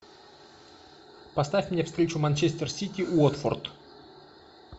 поставь мне встречу манчестер сити уотфорд